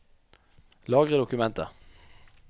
Lagre dokumentet